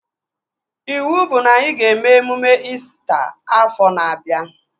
Iwu bụ na anyị ga-eme emume İsita afọ na-abịa